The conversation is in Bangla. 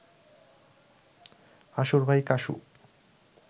হাসুর ভাই কাসু